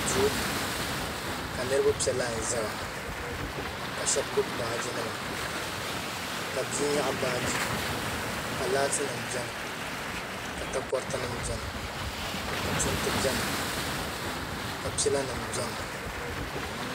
duu ka niriba pe laai n-zaya ka shɛba gbubi baaji nima ka bia nyaɣi baaji ka laatinima beni ka takɔriti nima beni ka punti beni ka pila nima beni.